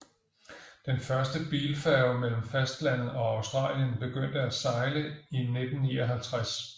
Den første bilfærge mellem fastlandet og Australien begyndte at sejle i 1959